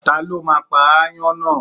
Ta ló máa pa ááyán náà?